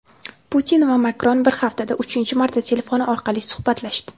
Putin va Makron bir haftada uchinchi marta telefon orqali suhbatlashdi.